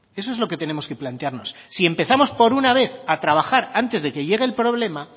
eso es lo que tenemos que plantearnos si empezamos por una vez a trabajar antes de que llegue el problema